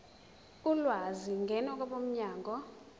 ulwazi ngena kwabomnyango